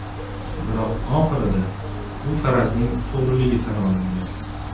Biroq, oxirida, u farazning to‘g‘riligi tan olingan.